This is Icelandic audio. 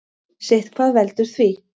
Sitthvað veldur því.